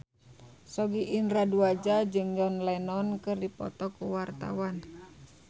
Sogi Indra Duaja jeung John Lennon keur dipoto ku wartawan